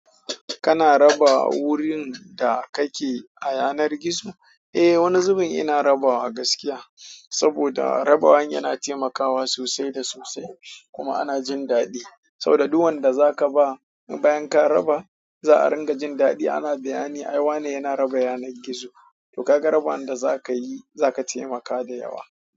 Kana raba wurin da kake a yanar gizo? Eh, wani zubin ina rabawa gaskiya. Saboda rabawa, yana taimakawa sosai da sosai kuma ana jin daɗi. Saboda duk wanda zaka ba, bayan ka raba za a ringa jin daɗi. Ana bayani, ai wa ne yana raba yanar gizo. To, kaga raba wanda za ka yi za ka taimaka da yawa.